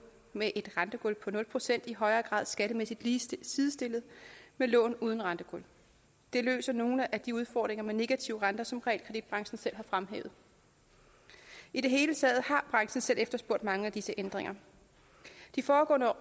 med et rentegulv på nul procent i højere grad skattemæssigt sidestillet med lån uden rentegulv det løser nogle af de udfordringer med negativ rente som realkreditbranchen selv har fremhævet i det hele taget har branchen selv efterspurgt mange af disse ændringer de foregående